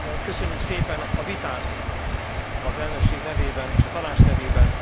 Köszönjük szépen a vitát az elnökség nevében és a Tanács nevében.